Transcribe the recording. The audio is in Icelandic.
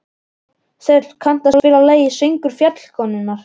Þöll, kanntu að spila lagið „Söngur fjallkonunnar“?